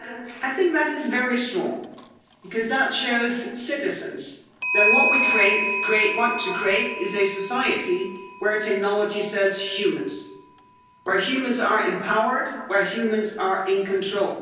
I think that is very strong because that shows citizens that what we want to create is a society where technology serves humans, where humans are empowered, where humans are in control.